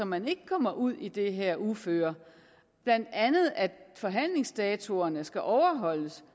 man ikke kommer ud i det her uføre blandt andet at forhandlingsdatoerne skal overholdes